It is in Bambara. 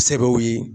Sɛbɛw ye